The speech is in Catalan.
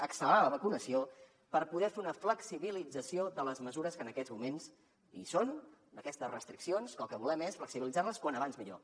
accelerar la vacunació per poder fer una flexibilització de les mesures que en aquests moments hi són d’aquestes restriccions que el que volem és flexibilitzar les com més aviat millor